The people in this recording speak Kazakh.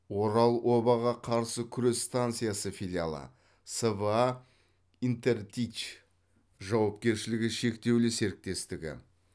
орал обаға қарсы күрес станциясы филиалы сва интертич жауапкершілігі шектеулі серіктестігі